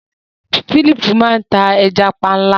Philip máa n ta ẹja panla.